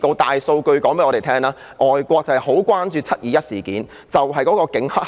大數據告訴我們，外國很關注"七二一"事件中有否警黑合作。